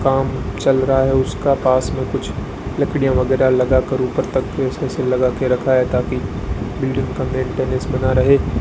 काम चल रहा है उसका पास में कुछ लकड़ियां वगैरह लगाकर ऊपर तक लगा के रखा है ताकि बिल्डिंग का मेंटेनेंस बना रहे।